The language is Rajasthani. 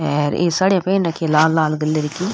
आर ई साडियाँ पहर रखी है लाल लाल कलर की।